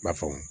I b'a faamu